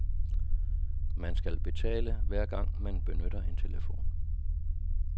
Man skal betale, hver gang man benytter en telefon.